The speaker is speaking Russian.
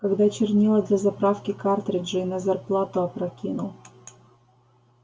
когда чернила для заправки картриджей на зарплату опрокинул